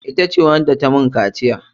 Ita ce wacce ta mun kaciya.